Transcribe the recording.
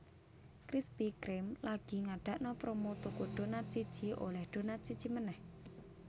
Krispy Kreme lagi ngadakno promo tuku donat siji oleh donat siji meneh